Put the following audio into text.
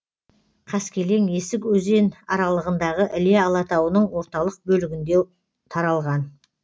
қаскелең есік өзен аралығындағы іле алатауының орталық бөлігінде таралған